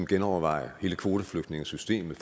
genoverveje hele kvoteflygtningesystemet